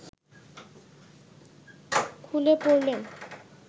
খুলে পড়লেন